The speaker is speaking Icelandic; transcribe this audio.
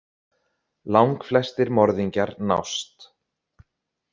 Langflestir morðingjar nást.